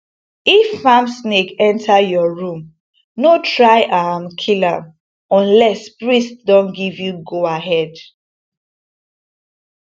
if farm snake enter your room no try um kill am unless priest don give you goahead